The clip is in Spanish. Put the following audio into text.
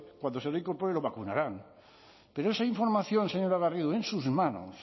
cuando se reincorpore lo vacunarán pero esa información señora garrido en sus manos